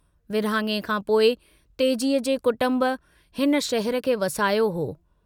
विरहाङे खां पोइ तेजीअ जे कुटम्ब हिन शहर खे वसायो हो।